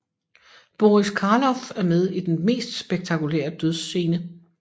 Boris Karloff er med i den mest spektakulære dødsscene